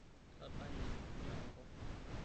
itadanye enyoongo